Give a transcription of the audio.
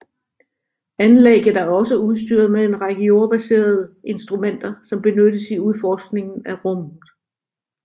Anlægget er også udstyret med en række jordbaserede instrumenter som benyttes i udforskningen af rummet